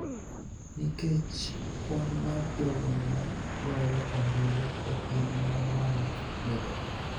nikech kwan mar jogo ma goyo ombulu e piny ma malo medore,